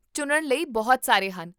ਚੁਣਨ ਲਈ ਬਹੁਤ ਸਾਰੇ ਹਨ